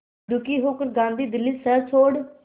दुखी होकर गांधी दिल्ली शहर छोड़